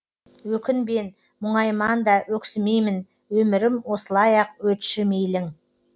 өкінбен мұңайман да өксімеймін өмірім осылай ақ өтші мейлің